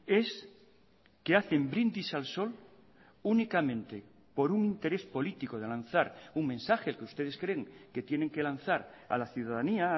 es que hacen brindis al sol únicamente por un interés político de lanzar un mensaje que ustedes creen que tienen que lanzar a la ciudadanía a